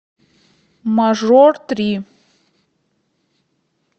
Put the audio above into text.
мажор три